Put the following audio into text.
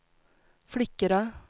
flickorna